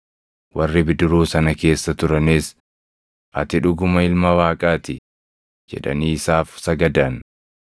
Warri bidiruu sana keessa turanis, “Ati dhuguma Ilma Waaqaa ti!” jedhanii isaaf sagadan.